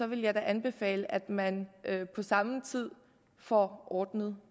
vil jeg da anbefale at man på samme tid får ordnet